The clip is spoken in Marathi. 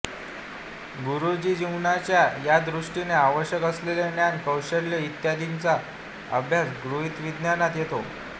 गृहजीवनाच्या या दृष्टीने आवश्यक असलेले ज्ञान कौशल्य इत्यादींचा अभ्यास गृहविज्ञानात येतो